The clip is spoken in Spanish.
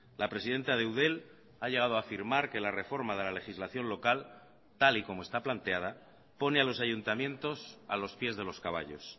la presidenta de eudel ha llegado a afirmar que la reforma de la legislación local tal y como está planteada pone a los ayuntamientos a los pies de los caballos